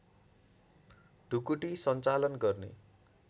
ढुकुटी सञ्चालन गर्ने